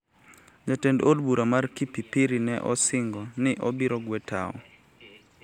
Jatend od bura mar Kipipiri ne osingo ni obiro gwe tao